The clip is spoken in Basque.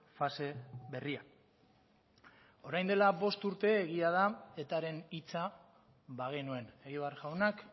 fase berria orain dela bost urte egia da etaren hitza bagenuen egibar jaunak